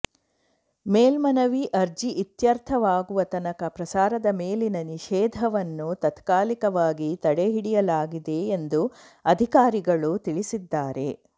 ಮೇಲ್ಮನವಿ ಅರ್ಜಿ ಇತ್ಯರ್ಥವಾಗುವ ತನಕ ಪ್ರಸಾರದ ಮೇಲಿನ ನಿಷೇಧವನ್ನು ತಾತ್ಕಾಲಿಕವಾಗಿ ತಡೆಹಿಡಿಯಲಾಗಿದೆ ಎಂದು ಅಧಿಕಾರಿಗಳು ತಿಳಿಸಿದ್ದಾರೆ